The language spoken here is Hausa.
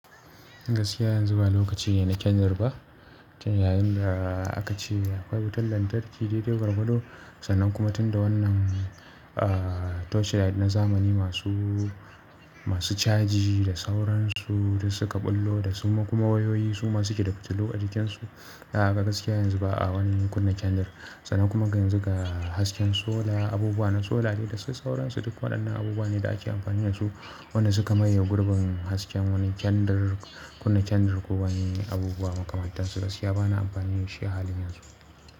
Gaskiya yanzu ba lokaci ne na kyandir ba, kyandir yayin da aka ce akwai wutar lantarki dai dai gwargwado sannan kuma tunda wannan ah torchlight na zamani masu caji da sauransu duk suka ɓullo da suma kuma wayoyi suma suke da fitilu a jikin su. Aa gaskiya yanzu ba wani kunne kyandir ba sannan kuma yanzu ga hasken sola, abubuwa na sola ne da sai sauransu duk waɗannan abubuwa ne da ake amfani da su wanda suka maye gurbin hasken wani kyandir kunna kyandir ko wani abubuwa makamantansu gaskiya ba na amfani da shi a halin yanzu.